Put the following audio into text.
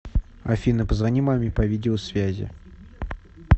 афина позвони маме по видео связи